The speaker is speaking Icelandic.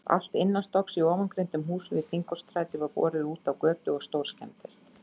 Allt innanstokks í ofangreindum húsum við Þingholtsstræti var borið útá götu og stórskemmdist.